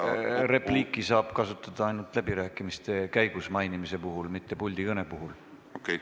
Repliiki saab kasutada ainult läbirääkimiste käigus mainimise puhul, mitte puldikõne puhul.